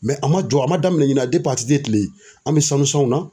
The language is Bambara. a man jɔ a man daminɛn ɲina ATT kile an bɛ sanu sanw na.